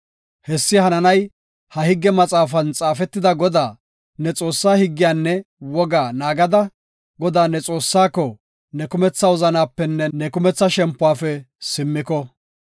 Hessi hananay ha higge maxaafan xaafetida Godaa, ne Xoossaa higgiyanne wogaa naagada, Godaa, ne Xoossaako ne kumetha wozanapenne ne kumetha shempuwafe simmiko.